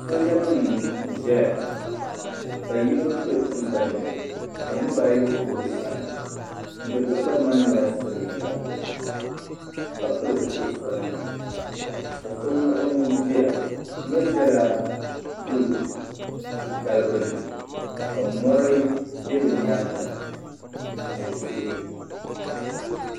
Sooja nima n zaya ka yino do tiŋgbani ni ka niriba ayi kuri o sani ŋuni do tiŋgbani ni maa yɛla silimiinga ka pili zupiligu sabinli ka so muɣi o nuhi ziya o mi zɛla du titali gbuni ka mori bɛ di yɛanga ni tihi.